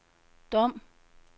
Dom